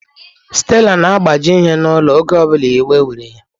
Stella na-agbaji ihe n'ụlọ, oge ọ bụla iwe were ya